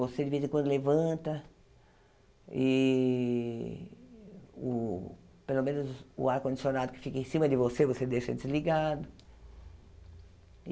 Você de vez em quando levanta e o pelo menos o ar-condicionado que fica em cima de você, você deixa desligado.